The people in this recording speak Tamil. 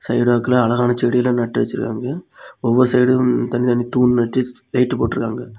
சைடு வாக்குல அழகான செடி எல்லாம் நட்டு வெச்சிருக்காங்க ஒவ்வொரு சைடும் தனித்தனி தூண் நட்டு லைட் போட்டுருக்காங்க.